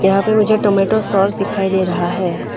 यहां पे मुझे टोमेटो सॉस दिखाई दे रहा है।